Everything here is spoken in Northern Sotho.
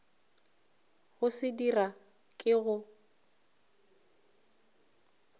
go se dira ke go